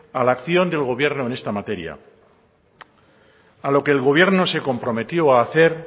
a la acción del gobierno en esta materia a lo que el gobierno se comprometió a hacer